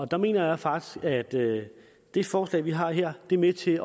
der mener jeg faktisk at det det forslag vi har her er med til